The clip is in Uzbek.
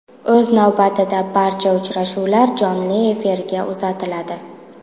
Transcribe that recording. O‘z navbatida barcha uchrashuvlar jonli efirga uzatiladi.